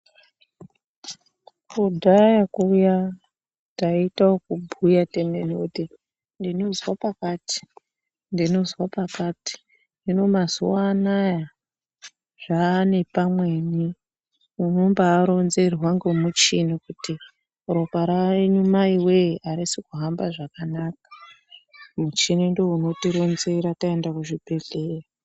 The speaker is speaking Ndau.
Kudhaya kuya tayite okubhuya timene kuti ndinozwa pakati, ndinozwa pakati ,hino mazuwa anaya zvaanepamweni, unombaaronzerwa ngomuchini kuti ropa renyu maiwee arisi kuhamba zvakanaka, muchini ndiwo unotironzera tayenda kuzvibhedhleya.